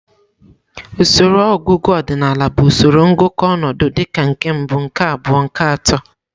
Usoro ọgụgụ ọdịnal bụ usoro ngụkọ ọnọdụ dịka nke mbụ, nke abụọ, nke atọ.